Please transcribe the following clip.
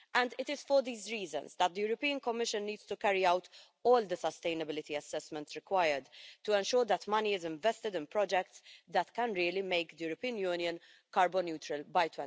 It is for these reasons that the European Commission needs to carry out all the sustainability assessments required to ensure that money is invested in projects that can really make the European Union carbon neutral by